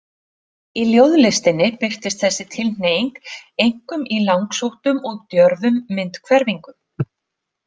Í ljóðlistinni birtist þessi tilhneiging einkum í langsóttum og djörfum myndhverfingum.